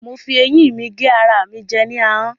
Mo fi ẹyín mi gé ara mi jẹ ní ahọ́n.